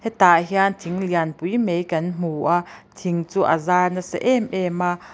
he tah hian thing lianpui mai kan hmu a thing chu a zar nasa em em a.